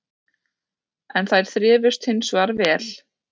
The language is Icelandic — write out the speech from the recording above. En þær þrifust hins vegar vel